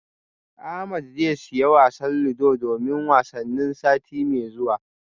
Ahmed zai siya wasan ludo domin wasannin sati mai zuwa